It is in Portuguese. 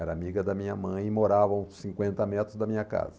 Era amiga da minha mãe e morava a uns cinquenta metros da minha casa.